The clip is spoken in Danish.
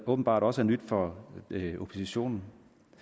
åbenbart også er nyt for oppositionen